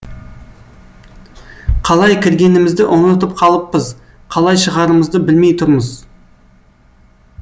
қалай кіргенімізді ұмытып қалыппыз қалай шығарымызды білмей тұрмыз